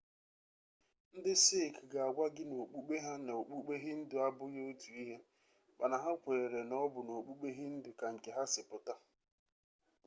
ndị sikh ga-agwa gị na okpukpe ha na okpukpe hindu abụghị otu ihe mana ha kweere na ọ bụ n'okpukpe hindu ka nke ha si pụta